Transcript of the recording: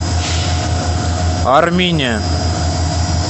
армине